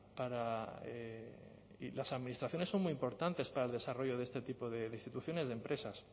para y las administraciones son muy importantes para el desarrollo de este tipo de instituciones de empresas